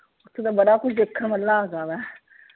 ਓਥੋਂ ਦਾ ਬੜਾ ਕੁਝ ਦੇਖਣ ਵਾਲਾ ਹੈਗਾ ਆ।